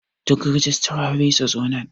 Duk rijistirori su zo nan.